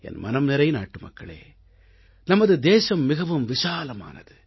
என் மனம்நிறை நாட்டுமக்களே நமது தேசம் மிகவும் விசாலமானது